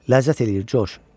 Ləzzət eləyir Coş.